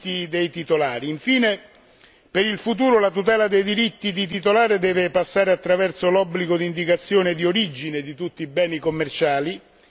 Infine, per il futuro la tutela dei diritti di titolare deve passare attraverso l'obbligo di indicazione di origine di tutti i beni commerciali, nessuno escluso.